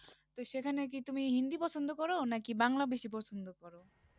তো সেখানে কি তুমি হিন্দি পছন্দ করো না কি বাংলা বেশি পছন্দ কর?